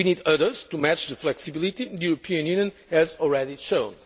We need others to match the flexibility the European Union has already shown.